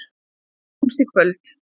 Við hittumst í kvöld.